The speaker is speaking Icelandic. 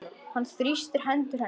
Hann þrýstir hendur hennar.